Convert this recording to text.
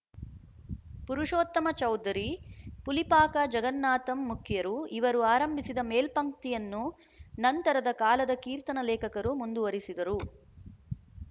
ಪುರುಷೊೀತ್ತಮ ಚೌಧರಿ ಪುಲಿಪಾಕ ಜಗನ್ನಾಥಂ ಮುಖ್ಯರು ಇವರು ಆರಂಭಿಸಿದ ಮೇಲ್ಪಂಕ್ತಿಯನ್ನು ನಂತರದ ಕಾಲದ ಕೀರ್ತನ ಲೇಖಕರು ಮುಂದುವರಿಸಿದರು